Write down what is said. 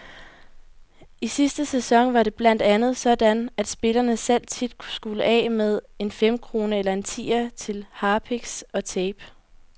I sidste sæson var det blandt andet sådan, at spillerne selv tit skulle af med en femkrone eller en tier til harpiks og tape.